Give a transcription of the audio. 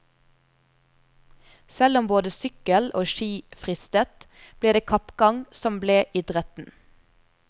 Selv om både sykkel og ski fristet, ble det kappgang som ble idretten.